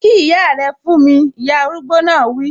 Kí ìyá rẹ fún mi! Ìyá arúgbó náà wi